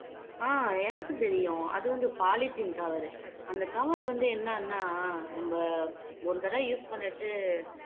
ஆஹ் எனக்கு தெரியும் அது வந்து polythene cover அந்த cover வந்து என்னன்னா நம்ம ஒரு தடவை use பண்ணிட்டு